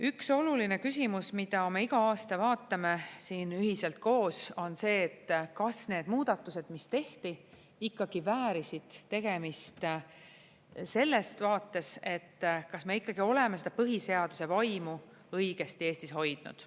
Üks oluline küsimus, mida me iga aasta vaatame siin ühiselt koos, on see, kas need muudatused, mis tehti, ikkagi väärisid tegemist selles vaates, et kas me ikkagi oleme seda põhiseaduse vaimu õigesti Eestis hoidnud.